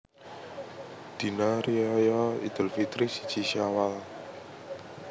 Dina Riyaya Idul Fitri siji Syawal